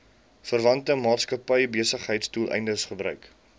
verwante maatskappybesigheidsdoeleindes gebruik